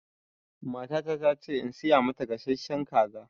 Matata ta ce in siya mata gasashshen kaza